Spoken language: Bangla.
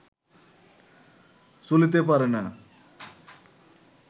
চলিতে পারে না